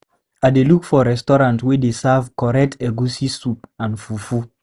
I dey look for restaurant wey dey serve correct egusi soup and fufu.